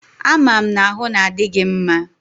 A ma'm na-ahu na adi gi mma?